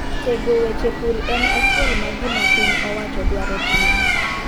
Tego weche pur en achiel ma gima piny owacho dwaro timo.